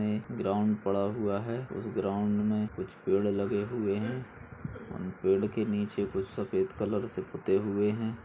यह एक ग्राउंड पड़ा हुआ है उस ग्राउंड मे कुछ पेड़ लगे हैं और उन पेड़ के निचे कुछ सफ़ेद कलर से पुते हुए हैं।